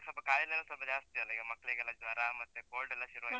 ಸ್ವಲ್ಪ ಕಾಯಿಲೆಯೆಲ್ಲ ಸ್ವಲ್ಪ ಜಾಸ್ತಿ ಅಲ್ಲ ಈಗ, ಮಕ್ಳಿಗೆಲ್ಲ ಜ್ವರ ಮತ್ತೆ cold ಲ್ಲ ಶುರುವಾಯ್ತ.